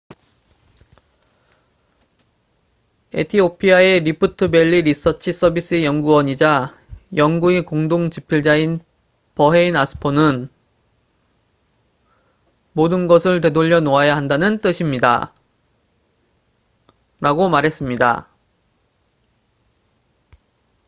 "에티오피아의 리프트 밸리 리서치 서비스의 연구원이자 연구의 공동 집필자인 버헤인 아스포는 "모든 것을 되돌려 놓아야 한다는 뜻입니다""라고 말했습니다.